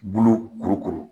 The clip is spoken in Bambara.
Bulu kuru kuru